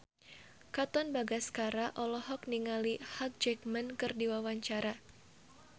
Katon Bagaskara olohok ningali Hugh Jackman keur diwawancara